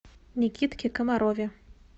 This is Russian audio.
никитке комарове